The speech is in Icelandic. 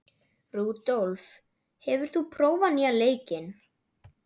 Rúdólf, hefur þú prófað nýja leikinn?